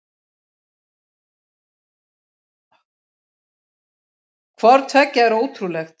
Hvort tveggja er ótrúlegt.